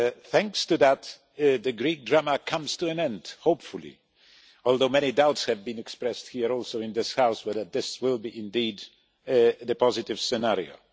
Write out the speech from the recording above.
Thanks to that, the Greek drama is coming to an end, hopefully, although many doubts have been expressed including in this House as to whether this will indeed be the positive scenario.